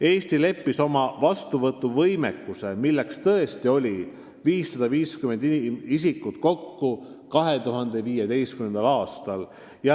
" Eesti leppis oma vastuvõtuvõimekuse, milleks tõesti oli 550 isikut, kokku 2015. aastal.